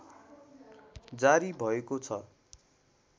जारी भएको छ